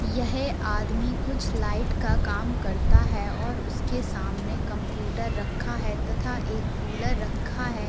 यह आदमी कुछ लाइट का काम करता है और उसके सामने कम्प्यूटर रक्खा है तथा एक कूलर रक्खा है।